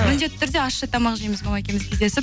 міндетті түрде ащы тамақ жейміз мама екеуміз кездесіп